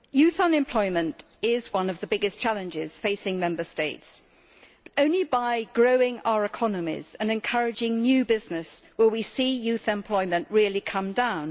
Madam President, youth unemployment is one of the biggest challenges facing Member States. Only by growing our economies and encouraging new business will we see youth unemployment really coming down.